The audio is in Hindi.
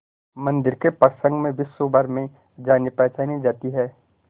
मंदिर के प्रसंग में विश्वभर में जानीपहचानी जाती है